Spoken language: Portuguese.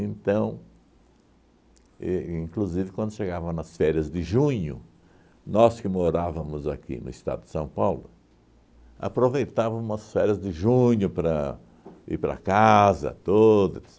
e inclusive, quando chegava nas férias de junho, nós que morávamos aqui no estado de São Paulo, aproveitávamos as férias de junho para ir para casa, tudo,